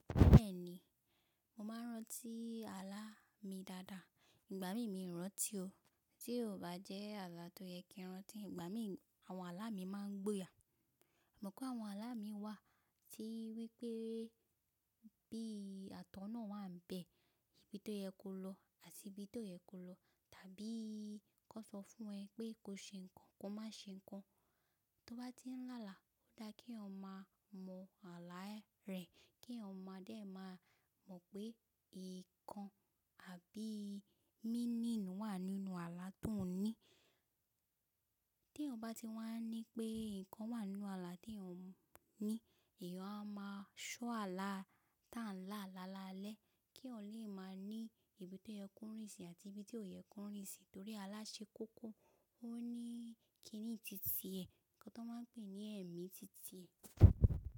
Bẹ́ẹ̀ni, mo máa n rántí àlá mi dáadáa. Ìgbà mí mí n rántí o. Tí ò bá jẹ́ àlá tó yẹ kí n rántí, ìgbà mí àwọn àlá mi máa n gbóya. Mo mọ̀ pé àwọn àlá mii wà tí wípé bí àtọ̀nà wà n bẹ̀, ibi tó yẹ kó lọ àti ibi tóo yẹ kó lọ, tàbí kó sọ fún ẹ pé ko ṣe nǹkan ko má ṣe nǹkan. Tó bá ti n lálà ó dá kí èèyàn maa mọ àlá ẹ rè kí èèyàn maa dẹ má mọ̀ pé nǹkan àbí meaning wà nínú àlá tó n ní. Tí èèyàn bá ti wà ní pé nǹkan wà n nu àlá tí èèyàn n ní, èèyàn a má ṣọ́ àlá tá n la làlálẹ́ kí èèyàn lè máa ní ibi tó yẹ kó rìn sí àti ibi ti ó yẹ kó rìn sí torí àlá ṣe kókó, o ní kíní titi ẹ, nǹkan tó máa n pè ní ẹ̀mí titi ẹ.